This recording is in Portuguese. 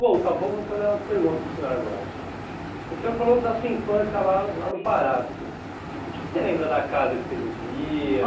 Voltar um pouco, vou fazer umas perguntas para o senhor agora então. O senhor falou da sua infância la lá no Pará, assim, que que você lembra da casa que você vivia?